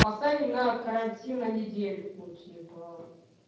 посадим на карантин на на недельку типа